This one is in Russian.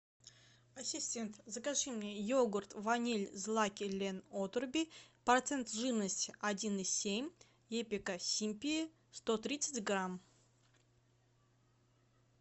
ассистент закажи мне йогурт ваниль злаки лен отруби процент жирности один и семь эпика симпи сто тридцать грамм